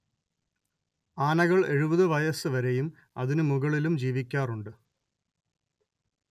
ആനകൾ എഴുപത് വയസ്സ് വരെയും അതിനു ‍മുകളിലും ജീവിക്കാറുണ്ട്